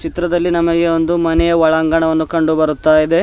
ಚಿತ್ರದಲ್ಲಿ ನಮಗೆ ಒಂದು ಮನೆಯ ಒಳಾಂಗಣವನ್ನು ಕಂಡು ಬರುತ್ತಾ ಇದೆ.